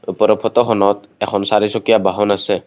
ওপৰৰ ফোটখনত এখন চাৰিচকীয়া বাহন আছে।